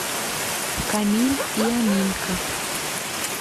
камиль и аминка